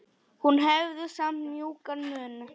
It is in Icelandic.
Hún hafði samt mjúkan munn.